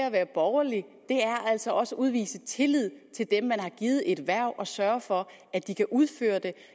at være borgerlig altså også at udvise tillid til dem man har givet et hverv og sørge for at de kan udføre det